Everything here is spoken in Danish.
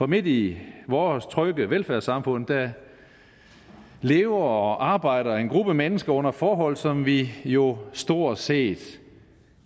midt i vores trygge velfærdssamfund lever og arbejder en gruppe mennesker under forhold som vi jo stort set